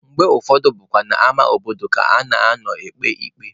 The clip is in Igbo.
Mgbe ụfọdụ bụkwa n'ama obodo ka a na-anọ ekpe ikpe.